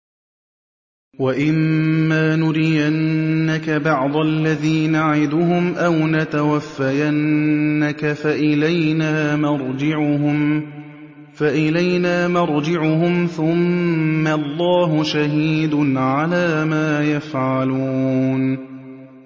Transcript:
وَإِمَّا نُرِيَنَّكَ بَعْضَ الَّذِي نَعِدُهُمْ أَوْ نَتَوَفَّيَنَّكَ فَإِلَيْنَا مَرْجِعُهُمْ ثُمَّ اللَّهُ شَهِيدٌ عَلَىٰ مَا يَفْعَلُونَ